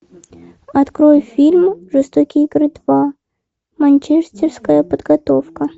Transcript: открой фильм жестокие игры два манчестерская подготовка